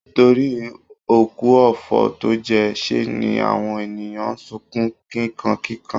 Torí òkú ọ̀fọ̀ tó jẹ́, ṣe ni àwọn ènìyàn ń sunkún kíkankíkan